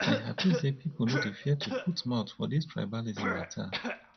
i hapi sey people no dey fear to put mouth for dis tribalism mata